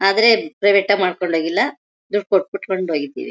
ಆದರೆ ಪ್ರೈವೇಟ್ ಆಗಿ ಮಾಡ್ಕೊಂಡು ಹೋಗಿಲ್ಲ ದುಡ್ಡು ಕೊಟ್ಟು ಬಿಟ್ಟು ಕೊಂಡು ಹೋಗಿದ್ದೀವಿ.